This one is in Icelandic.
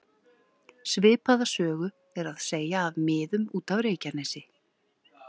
Svipaða sögu er að segja af miðum út af Reykjanesi.